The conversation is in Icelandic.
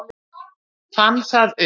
Fann það upp.